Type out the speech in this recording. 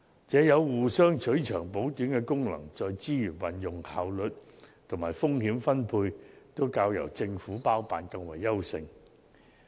這有互相取長補短的功能，在資源運用、效率及風險分配方面均較由政府包辦更為優勢。